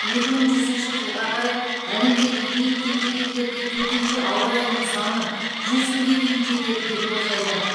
екі мың жүзінші жылға қарай әлемдегі ең кедей елдерде төтенше ауа райының саны жүз күнге дейін жетеді деп болжайды